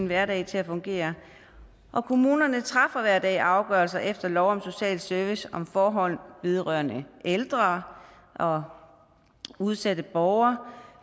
hverdagen til at fungere og kommunerne træffer hver der afgørelse efter lov om social service om forhold vedrørende ældre og udsatte borgere